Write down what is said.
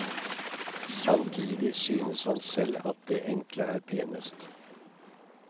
Samtidig synes han selv at det enkle er penest.